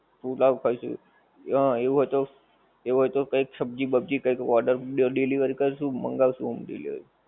પુલાવ ખાઈશું, હં એવું હોય તો એવું હોય તો કઈક સબ્જી બબ્જી કઈક order delivery કરશું મંગાવીશું home delivery.